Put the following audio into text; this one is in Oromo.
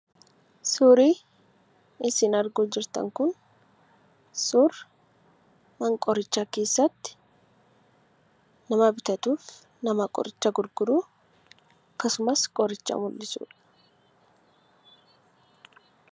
Suurri isin argaa jirtan kun suura mana qorichaa keessatti nama bitatuuf nama qoricha gurguru akkasumas qoricha mul'isudha.